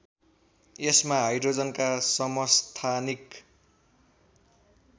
यसमा हाइड्रोजनका समस्थानिक